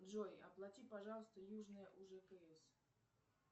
джой оплати пожалуйста южное ужкс